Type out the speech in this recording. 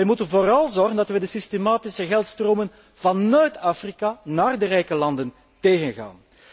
Wij moeten vooral zorgen dat wij de systematische geldstromen van Noord Afrika naar de rijke landen tegengaan.